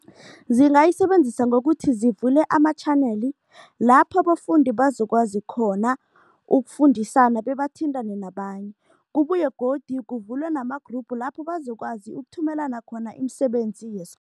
Zingayisebenzisa ngokuthi zivule ama-channel lapho abafundi bazokwazi khona ukufundisana bebathintane nabanye. Kubuye godu kuvulwe nama-group lapho bazokwazi ukuthumelana khona imisebenzi